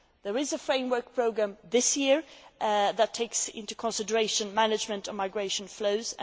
There is a framework programme this year that takes into consideration the management of migration flows.